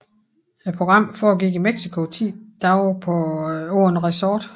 Programmet forgik i Mexico i 10 dage på et resort